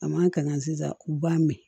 A man kan sisan u b'a mɛn